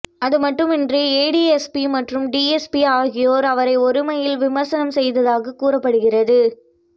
அது மட்டுமின்றி ஏடிஎஸ்பி மற்றும் டிஎஸ்பி ஆகியோர் அவரை ஒருமையில் விமர்சனம் செய்ததாக கூறப்படுகிறது